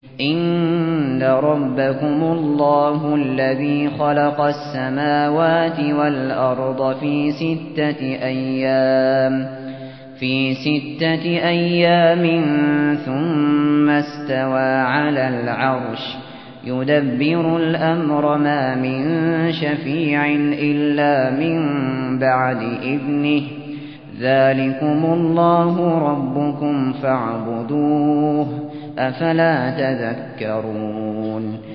إِنَّ رَبَّكُمُ اللَّهُ الَّذِي خَلَقَ السَّمَاوَاتِ وَالْأَرْضَ فِي سِتَّةِ أَيَّامٍ ثُمَّ اسْتَوَىٰ عَلَى الْعَرْشِ ۖ يُدَبِّرُ الْأَمْرَ ۖ مَا مِن شَفِيعٍ إِلَّا مِن بَعْدِ إِذْنِهِ ۚ ذَٰلِكُمُ اللَّهُ رَبُّكُمْ فَاعْبُدُوهُ ۚ أَفَلَا تَذَكَّرُونَ